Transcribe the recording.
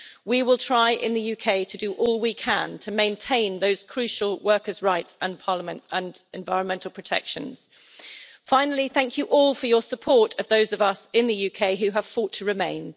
We will try in the UK to do all we can to maintain those crucial workers' rights and environmental protections. Finally, thank you all for your support of those of us in the UK who have fought to remain.